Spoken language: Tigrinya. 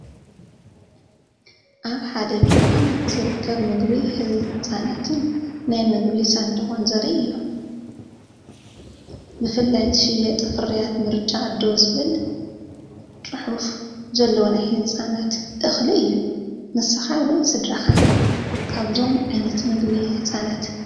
ኣብ ሓደ ድኳን ዝርከብ ምግቢ ህጻናትን ናይ ምግቢ ሳንዱቕን ዘርኢ እዩ። ብፍላይዝሽየጥ ፍርያት “ምርጫ ኣደ” ዝብል ጽሑፍ ዘለዎ ናይ ህጻናት እኽሊ እዩ። ንስኻ ወይ ስድራኻ ካብዞም ዓይነት ምግቢ ህጻናት ተጠቀምቲ ዲኹም?